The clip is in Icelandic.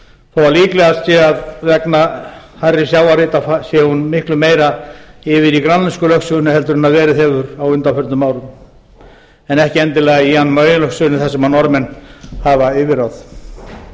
að líklegast sé að vegna hærri sjávarhita sé hún miklu meira yfir í grænlensku lögsögunni en verið hefur á undanförnum árum en ekki endilega í jan mayen lögsögunni þar sem norðmenn hafa yfirráð